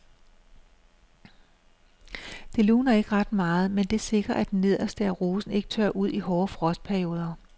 Det luner ikke ret meget, men det sikrer at det nederste af rosen ikke tørrer ud i hårde frostperioder.